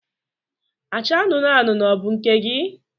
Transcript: Acha anụnụ anụnụ ọ bụ nke gị?